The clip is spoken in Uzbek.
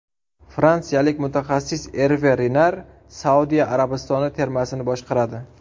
Fransiyalik mutaxassis Erve Renar Saudiya Arabistoni termasini boshqaradi.